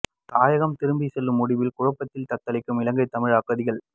தாயகம் திரும்பி செல்லும் முடிவில் குழப்பத்தில் தத்தளிக்கும் இலங்கை தமிழ் அகதிகள்